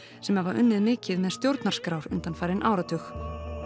sem hafa unnið mikið með stjórnarskrár undanfarinn áratug